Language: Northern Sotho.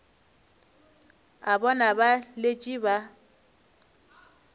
a bona ba letše ba